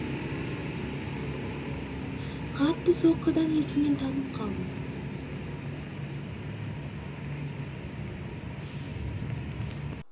қатты соққыдан есімнен танып қалдым